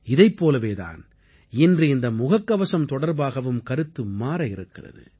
இதைப் போலவே தான் இன்று இந்த முகக்கவசம் தொடர்பாகவும் கருத்து மாற இருக்கிறது